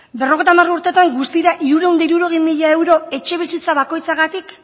berrogeita hamar urtetan guztira hirurehun eta hirurogei mila euro etxebizitza bakoitzagatik